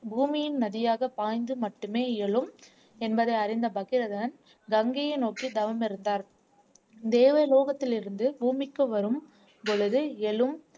பூமியின் நதியாக பாய்ந்து மட்டுமே இயலும் என்பதை அறிந்த பகிரதன் கங்கையை நோக்கி தவம் இருந்தார் தேவலோகத்திலிருந்து பூமிக்கு வரும் பொழுது எழும்